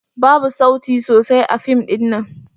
Babu sauti sosai a fim ɗin nan.